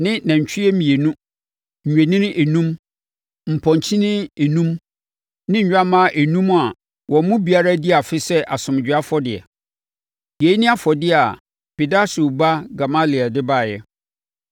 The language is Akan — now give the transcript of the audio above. ne nantwie mmienu, nnwennini enum, mpɔnkyenini enum ne nnwammaa enum a wɔn mu biara adi afe sɛ asomdwoeɛ afɔdeɛ. Yei ne afɔdeɛ a Pedahsur ba Gamaliel de baeɛ.